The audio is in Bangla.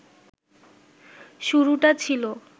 শুরুটা ছিল